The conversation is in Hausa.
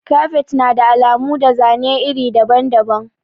Kafet na da alamu da zane iri daban-daban.